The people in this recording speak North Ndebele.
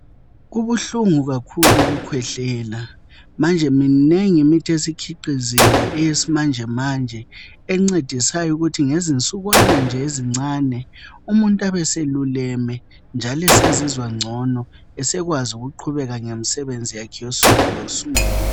Kubuhlungu kakhulu ukukwehlela manje iminingi imithi esikhiqiziwe eyesimanje manje encedisayo ukuthi ngezinsukwana nje ezincane umuntu uyabe seluleme njalo sezizwa ngcono sekwazi ukuqhubeka ngemisebenzi yakhe yosuku losuku